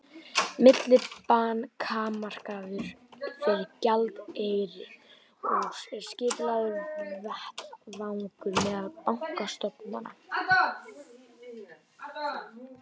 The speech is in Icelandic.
Millibankamarkaður fyrir gjaldeyri er skipulagður vettvangur meðal bankastofnana.